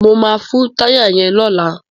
Mo máa fun táyà yẹn lọ́la.